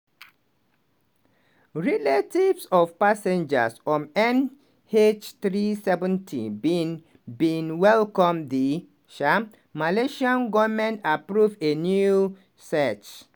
relatives of passengers on mh370 bin bin welcome di um malaysian govment approval of a new search.